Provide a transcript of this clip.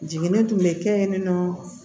Jiginni tun bɛ kɛ yen nɔ